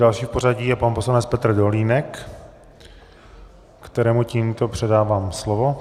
Další v pořadí je pan poslanec Petr Dolínek, kterému tímto předávám slovo.